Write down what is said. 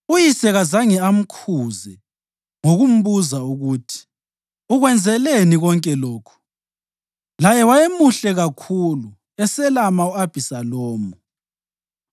(Uyise kazange amkhuze ngokumbuza ukuthi, “Ukwenzeleni konke lokhu?” Laye wayemuhle kakhulu, eselama u-Abhisalomu.)